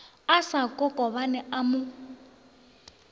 a sa kokobane a mo